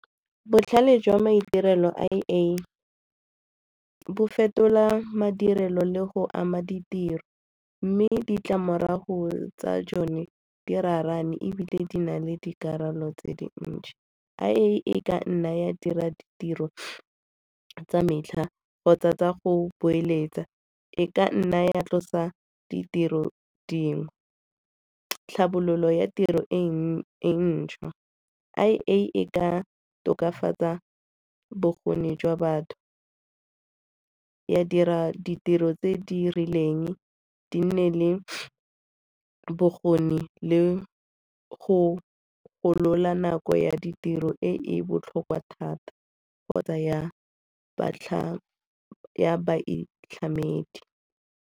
Botlhale jwa maitirelo I_A, bo fetola madirelo le go ama ditiro mme ditlamorago tsa jone di raraane ebile di na le dikarolo tse dintsi. I_A e ka nna ya dira ditiro tsa metlha kgotsa tsa go boeletsa, e ka nna ya tlosa ditiro dingwe. Tlhabololo ya tiro e ntšhwa, I_A e ka tokafatsa bokgoni jwa batho, ya dira ditiro tse di rileng di nne le bokgoni le go golola nako ya ditiro e e botlhokwa thata kgotsa ya baitlhamedi.